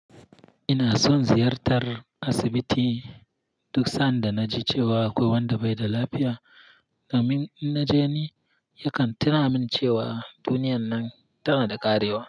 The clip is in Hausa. Ina son ziyartar asibiti duk sanda na ji cewa akwai wanda bai da lafiya, domin in na je ni yakan tuna min cewa duniyan nan tana da ƙarewa.